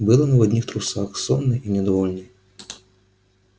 был он в одних трусах сонный и недовольный